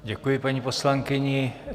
Děkuji paní poslankyni.